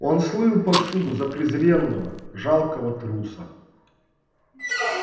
он слыл повсюду за презренного жалкого труса